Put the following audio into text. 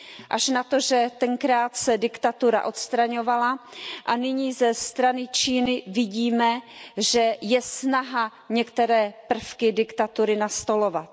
Až na to, že tenkrát se diktatura odstraňovala a nyní ze strany Číny vidíme, že je snaha některé prvky diktatury nastolovat.